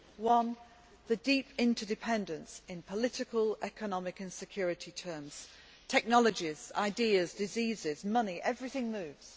One, a deep interdependence in political, economic and security terms technologies, ideas, diseases, money everything moves.